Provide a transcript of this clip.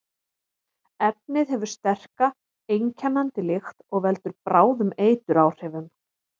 Efnið hefur sterka, einkennandi lykt og veldur bráðum eituráhrifum.